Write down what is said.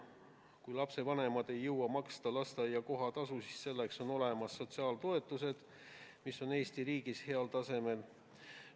Kui lapsevanemad ei jõua maksta lasteaia kohatasu, siis selleks on olemas sotsiaaltoetused, mis on Eesti riigis heal tasemel.